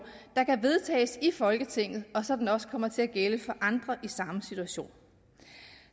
der kan vedtages i folketinget og sådan at den også kommer til at gælde for andre i samme situation